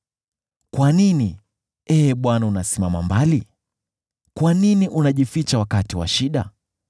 Kwa nini, Ee Bwana , unasimama mbali? Kwa nini unajificha wakati wa shida?